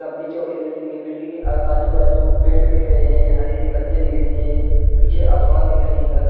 लम्बी -चौड़ी बिल्डिंग है बिल्डिंग के आजु-बाजु पेड़ दिख रहे है हरी-हरी पत्तियाँ दिख रही है पीछे आसमान दिख रहा है नीला --